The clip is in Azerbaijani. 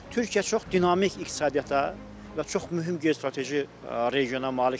Türkiyə çox dinamik iqtisadiyyata və çox mühüm geostrateji regiona malikdir.